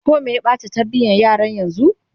koh Meye Bata tarbiyan yaran yanzun?